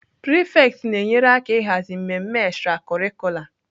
Prefects na-enyere aka ịhazi mmemme extracurricular.